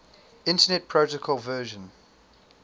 internet protocol version